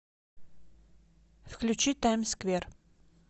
включи таймсквер